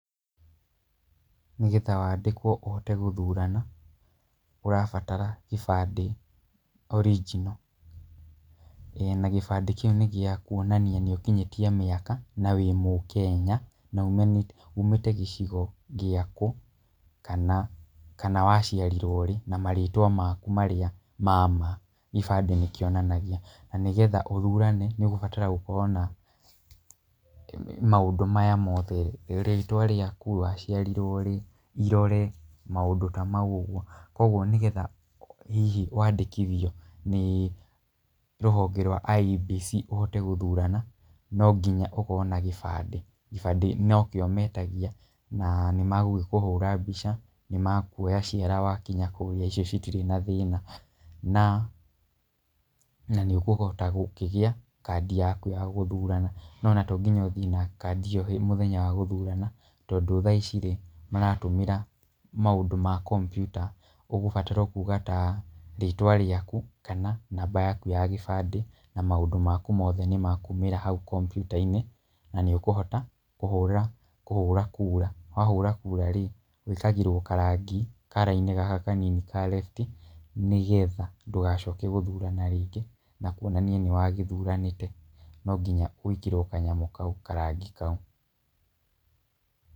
Nĩgetha wandĩkwo ũhote gũthurana, ũrabatara kĩbande original, na gĩbande kĩu nĩ gĩakuonania nĩ ũkinyĩtie mĩaka, na wĩ mũkenya , na umĩte gĩcigo gĩa kũ, kana waciarirwo rĩ na marĩtwa maku marĩa mama gĩbande nĩ kĩonanagia. Na nĩgetha ũthurane, nĩ ũgũbatara gũkorwo na maũndũ maya mothe, rĩtwa rĩaku, waciarirwo rĩ, irore, maũndũ tamau ũguo. Kwoguo nĩgetha wandĩkithio nĩ rũhonge rwa IEBC ũhote gũthurana, no nginya ũkorwo na gĩbande. Gĩbande nokĩo metagia, na nĩ megũgĩkũhũra mbica, nĩ mekuoya ciara wakinya kũrĩa ĩcio itirĩ na thĩna, na nĩũkũhota kũgĩa kadi yaku ya gũthurana. No ona to nginya ũthiĩ na kadi ĩyo mũthenya wa gũthurana, tondũ thaici maratũmĩra maũndũ ma kompyuta. Ũgũbatara kuuga ta rĩtwa rĩaku, kana namba yaju ya gĩbande, na maũndũ maku nĩmekumĩra hau kompyuta-inĩ, na nĩ ũkũhota kũhũra, kũhũra kura. Wahũra kũa, wĩkagĩrwo karangi, kara-inĩ gaka kanini ka refti na ningĩ kuonania atĩ nĩ ũthuranĩte, no nginya wĩkĩrwo kanyamũ kau, karangi kau.